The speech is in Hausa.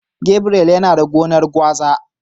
Gabriel yana da gonan gwaza.